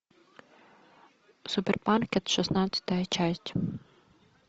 супер маркет шестнадцатая часть